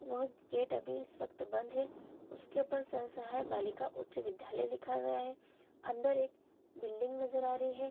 वह गेट अभी इस वक्त बंद है उसके ऊपर सह सहाय बालिका उच्च विद्यालय लिखा गया है अंदर एक बिल्डिंग नजर आ रही है।